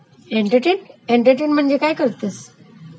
Entertain entertain म्हणजे काय करतेस?